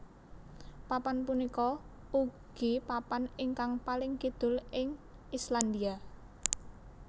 Papan punika ugi papan ingkang paling kidul ing Islandia